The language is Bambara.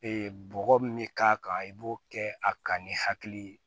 bɔgɔ min bɛ k'a kan i b'o kɛ a kan ni hakili ye